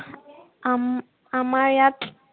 আম, আমাৰ ইয়াত